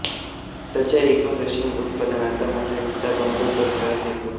भारताच्या एकूण रेशीम उत्पादनाचा मोठा हिस्सा बंगळूर परिसरातून येतो